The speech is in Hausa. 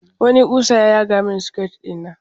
Wani ƙusa ya yaga rami a siket ɗina.